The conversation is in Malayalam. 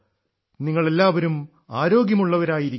നിങ്ങൾ എല്ലാവരും ആരോഗ്യം ഉള്ളവർആയിരിക്കുക